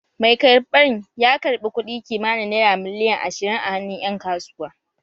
Mai karɓan ya karɓi kuɗi kimanin naira miliyan ashirin a hannun ƴan kasuwa